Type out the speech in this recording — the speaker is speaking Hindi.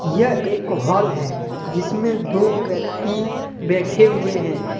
यह एक हॉल है जिसमें दो व्यक्ति बैठे हुए हैं।